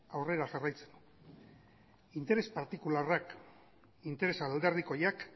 aurrera jarraitzen du interes partikularrak interes alderdikoiak